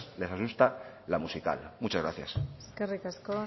les asusta la musical muchas gracias eskerrik asko